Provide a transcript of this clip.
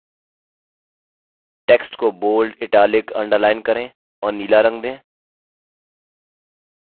text को bold italic underlined करें और नीला रंग दें